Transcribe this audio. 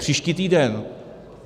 Příští týden.